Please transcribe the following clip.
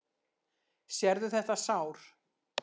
Sérðu þetta sár?